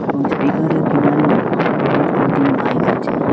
এবং স্পিকারের কিনারে বহুত কয়টি মাইক আছে।